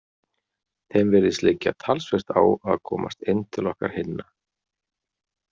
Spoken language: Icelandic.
Þeim virðist liggja talsvert á að komast inn til okkar hinna.